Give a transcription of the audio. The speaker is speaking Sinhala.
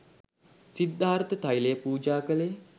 සිද්ධාර්ථ තෛලය පූජා කළේ